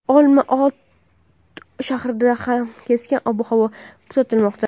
Olma-ota shahrida ham keskin ob-havo kuzatilmoqda.